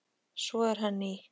Svo er hann í